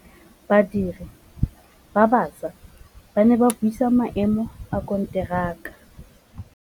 Badiri ba baša ba ne ba buisa maêmô a konteraka.